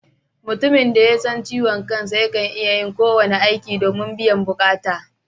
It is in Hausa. Mutumin da ya san ciwon kansa yakan iya yin kowane aiki domin biyan bukata